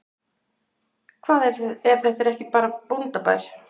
Hvað er þetta ef þetta ekki er bóndabær?